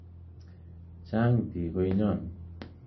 Chang biik konyon